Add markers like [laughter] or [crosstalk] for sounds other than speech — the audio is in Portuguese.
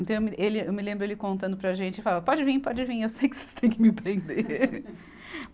Então, eu me, ele, eu me lembro ele contando para a gente e falando, pode vim, pode vim, eu sei que vocês têm que me prender. [laughs]